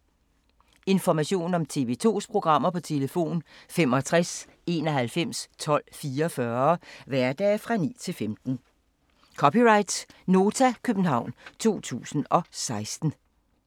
Information om TV 2's programmer: 65 91 12 44, hverdage 9-15.